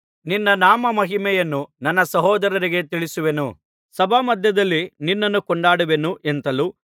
ನಿನ್ನ ನಾಮಮಹಿಮೆಯನ್ನು ನನ್ನ ಸಹೋದರರಿಗೆ ತಿಳಿಸುವೆನು ಸಭಾಮಧ್ಯದಲ್ಲಿ ನಿನ್ನನ್ನು ಕೊಂಡಾಡುವೆನು ಎಂತಲೂ